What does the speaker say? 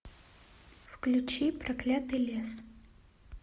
включи проклятый лес